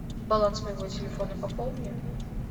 баланс моего телефона пополни